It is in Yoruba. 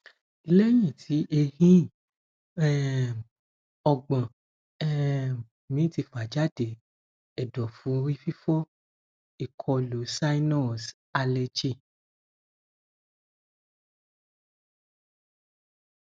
leyin ti ehin um ọgbọn um mi ti fa jade ẹdọfu orififo ikolu sinus aleji